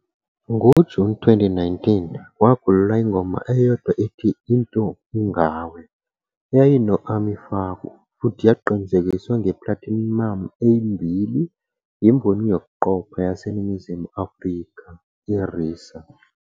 NgoJuni 2019, kwakhululwa ingoma eyodwa ethi "Into Ingawe" eyayinama- Ami Faku futhi yaqinisekiswa nge-platinum eyimbili yimboni yokuqopha yaseNingizimu Afrika, i-RiSA.